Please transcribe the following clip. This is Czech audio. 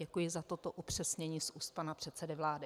Děkuji za toto upřesnění z úst pana předsedy vlády.